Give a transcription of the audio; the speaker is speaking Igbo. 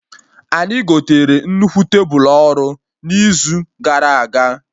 Anyị gotere nnukwu tebulu ọrụ na izu gara aga